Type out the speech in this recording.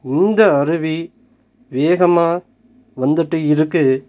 இந்த அருவி வேகமா வந்துட்டு இருக்கு.